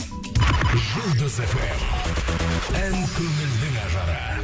жұлдыз фм ән көңілдің ажары